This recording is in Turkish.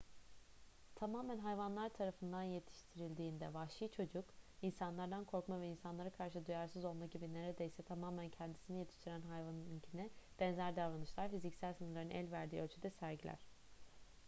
tamamen hayvanlar tarafından yetiştirildiğinde vahşi çocuk insanlardan korkma veya insanlara karşı duyarsız olma gibi neredeyse tamamen kendisini yetiştiren hayvanınkine benzer davranışlar fiziksel sınırların el verdiği ölçüde sergiler